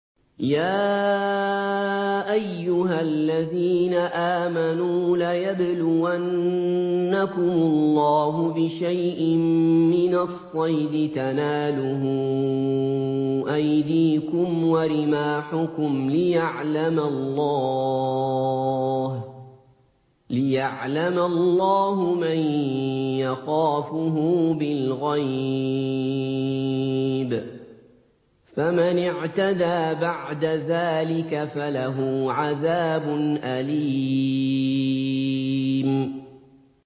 يَا أَيُّهَا الَّذِينَ آمَنُوا لَيَبْلُوَنَّكُمُ اللَّهُ بِشَيْءٍ مِّنَ الصَّيْدِ تَنَالُهُ أَيْدِيكُمْ وَرِمَاحُكُمْ لِيَعْلَمَ اللَّهُ مَن يَخَافُهُ بِالْغَيْبِ ۚ فَمَنِ اعْتَدَىٰ بَعْدَ ذَٰلِكَ فَلَهُ عَذَابٌ أَلِيمٌ